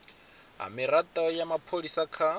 ha mirado ya mapholisa kha